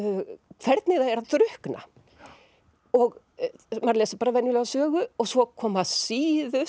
hvernig það er að drukkna og maður les bara venjulega sögu og svo koma síðustu